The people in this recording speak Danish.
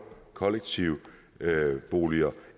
kollektive boliger